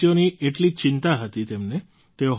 દેશવાસીઓની એટલી ચિંતા હતી તેમને